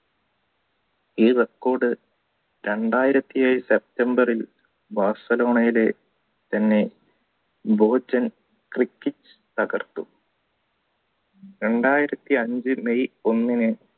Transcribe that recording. ഈ record രണ്ടായിരത്തി ഏഴ് september ൽ ബാഴ്സലോണയിലെ തന്നെ തകർത്തു രണ്ടായിരത്തി അഞ്ചു may ഒന്നിന്